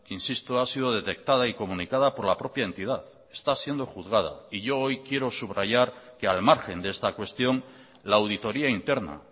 insisto ha sido detectada y comunicada por la propia entidad está siendo juzgada y yo hoy quiero subrayar que al margen de esta cuestión la auditoria interna